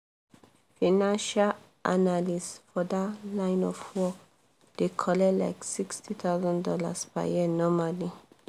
financial analyst for that line of work dey collect like $60000 per year normally